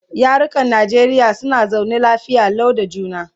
yarukan Najeriya suna zaune lafiya Lau da juna